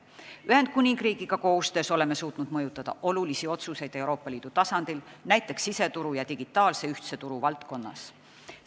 Ühendkuningriigiga koostöös oleme suutnud mõjutada olulisi otsuseid Euroopa Liidu tasandil, näiteks siseturu ja ühtse digitaalse turu valdkonnas.